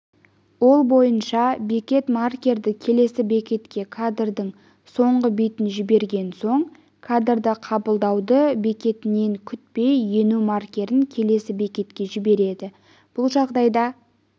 ол бойынша бекет маркерді келесі бекетке кадрдың соңғы битін жіберген соң кадрды қабылдауды бекіткенін күтпей ену маркерін келесі бекетке жібереді бұл жағдайда